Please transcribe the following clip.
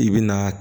I bi na